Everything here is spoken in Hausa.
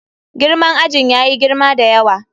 Girman ajin yayi girma da yawa.